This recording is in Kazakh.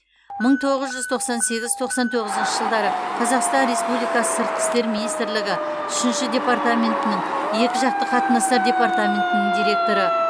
мың тоғыз жүз тоқсан сегіз тоқсан тоғызыншы жылдары қазақстан республикасы сыртқы істер министрлігі үшінші департаментінің екіжақты қатынастар департаментінің директоры